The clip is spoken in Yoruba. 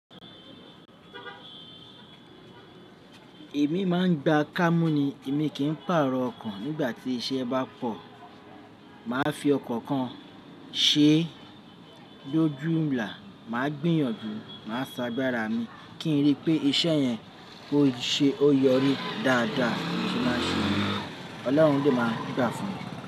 Èmi máa ń gba kámúù ní èmi kì í pàrọ̀ ọkàn nígbà tí iṣẹ́ bá pọ̀. Mà á fi ọkọ̀ kan ṣé lójú ńlá, mà á gbìyànjú, mà á ṣagbára mi kí n rí i pé iṣẹ́ yẹn kó ṣe ó yọrí dáadáa ṣe má ṣe. Ọlọ́run de máa ń gbà fún mi.